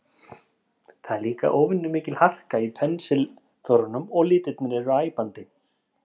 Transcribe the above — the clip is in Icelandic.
Það er líka óvenju mikil harka í pensilförunum og litirnir eru æpandi.